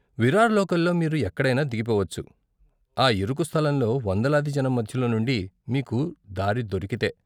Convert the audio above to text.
విరార్ లోకల్లో మీరు ఎక్కడైనా దిగిపోవచ్చు, ఆ ఇరుకు స్థలంలో వందలాది జనం మధ్యలో నుండి మీకు దారి దొరికితే.